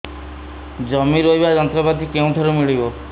ଜମି ରୋଇବା ଯନ୍ତ୍ରପାତି କେଉଁଠାରୁ ମିଳିବ